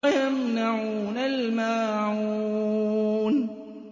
وَيَمْنَعُونَ الْمَاعُونَ